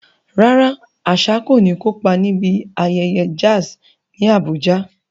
Rárá, Asa kò ní kópa níbi ayẹyẹ jazz ní Abuja.